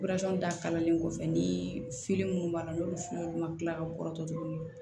da kalalen kɔfɛ ni fili minnu b'a la n'olu fili ma kila ka bɔrɔtɔ tuguni